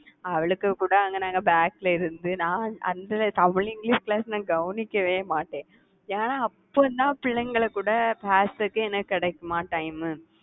அவளுக்கு கூட அங்க நாங்க back ல இருந்து நான் அந்த தமிழ், இங்கிலிஷ் class நான் கவனிக்கவே மாட்டேன். ஏன்னா அப்ப நான் பிள்ளைங்களை கூட பேசறதுக்கு எனக்கு கிடைக்குமா time உ